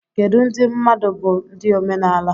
Kedu ndị mmadụ bụ ndị omenala?